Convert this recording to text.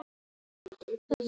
Hún er orðin æst.